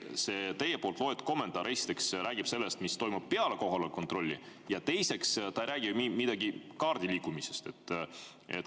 See teie poolt ette loetud kommentaar, esiteks, räägib sellest, mis toimub peale kohaloleku kontrolli, ja teiseks, ta ei räägi midagi kaardi liigutamisest.